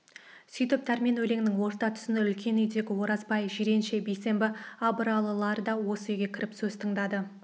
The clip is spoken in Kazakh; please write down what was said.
сөйтіп дәрмен өлеңінің орта тұсында үлкен үйдегі оразбай жиренше бейсенбі абыралылар да осы үйге кіріп сөз тыңдады